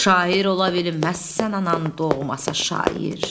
Şair ola bilməzsən anan doğmasa şair.